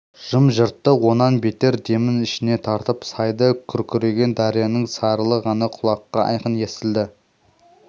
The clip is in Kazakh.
жым-жырттық онан бетер демін ішіне тартып сайда күркіреген дарияның сарылы ғана құлаққа айқын естілді